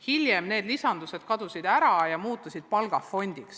Siis need lisandused kadusid ära ja raha läks palgafondi.